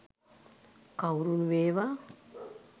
කවුරුන් වේවා